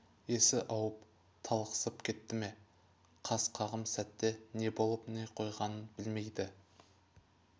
есі ауып талықсып кетті ме қас қағым сәтте не болып не қойғанын білмейді